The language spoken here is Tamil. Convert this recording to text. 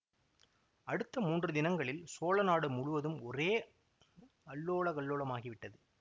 அடுத்த மூன்று தினங்களில் சோழ நாடு முழுவதும் ஒரே அல்லோலகல்லோலமாகி விட்டது